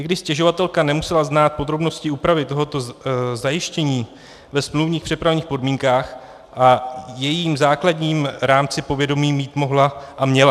I když stěžovatelka nemusela znát podrobnosti úpravy tohoto zajištění ve smluvních přepravních podmínkách, o jejím základním rámci povědomí mít mohla a měla.